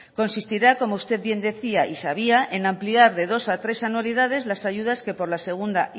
consistirá como usted bien decía y sabía en ampliar de dos a tres anualidades las ayudas que por la segunda